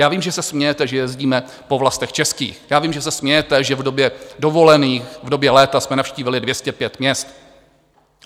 Já vím, že se smějete, že jezdíme po vlastech českých, já vím, že se smějete, že v době dovolených, v době léta jsme navštívili 205 měst.